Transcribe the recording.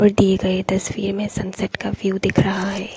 दिए गए तस्वीर में सनसेट का व्यू दिख रहा है।